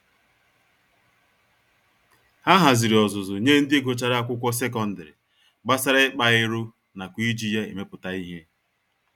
Ha haziri ọzụzụ nye ndị Gụchara Akwụkwọ secondary, gbasara ịkpa ero nakwa iji ya emepụta ìhè.